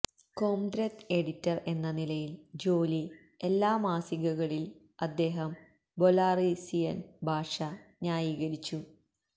Kondrat editor എന്ന നിലയിൽ ജോലി എല്ലാ മാസികകളിൽ അദ്ദേഹം ബെലാറസിയൻ ഭാഷ ന്യായീകരിച്ചു